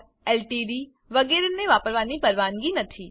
LTD વગેરેને પરવાનગી નથી